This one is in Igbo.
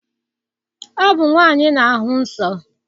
Ọ bụ nwaanyị na-ahụ nsọ.